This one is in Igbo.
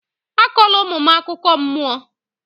Akọla ụmụ m akụkọ mmụọ!